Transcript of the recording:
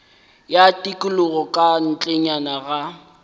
ya tikologo ka ntlenyana ga